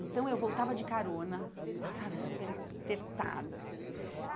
Então, eu voltava de carona, estava super apertada, assim.